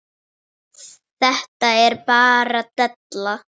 Þetta er bara della.